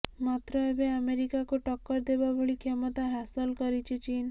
ମାତ୍ର ଏବେ ଆମେରିକାକୁ ଟକ୍କର ଦେବା ଭଳି କ୍ଷମତା ହାସଲ କରିଛି ଚୀନ